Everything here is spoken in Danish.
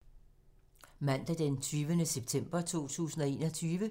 Mandag d. 20. september 2021